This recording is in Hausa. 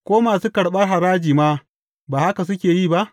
Ko masu karɓar haraji ma ba haka suke yi ba?